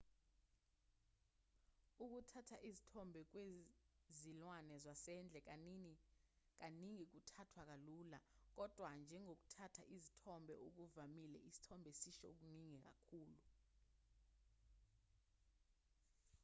ukuthatha izithombe kwezilwane zasendle kaningi kuthathwa kalula kodwa njengokuthatha izithombe okuvamile isithombe sisho okuningi kakhulu